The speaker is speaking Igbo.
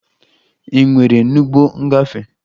Ị nwere n'ụgbọ ngafe?